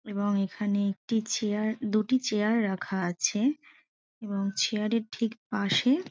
এবং এখানে একটি চেয়ার দুটি চেয়ার রাখা আছে এবং চেয়ার -এর ঠিক পাশে।